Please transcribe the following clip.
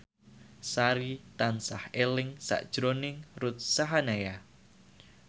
Sari tansah eling sakjroning Ruth Sahanaya